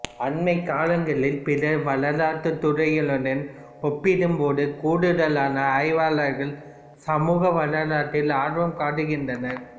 அண்மைக் காலங்களில் பிற வரலாற்றுத் துறைகளுடன் ஒப்பிடும்போது கூடுதலான ஆய்வாளர்கள் சமூக வரலாற்றில் ஆர்வம் காட்டுகின்னறர்